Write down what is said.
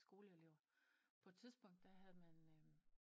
Skoleelever på et tidspunkt der havde man øh